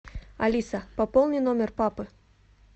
алиса пополни номер папы